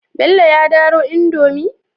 Bello ya daro indomie?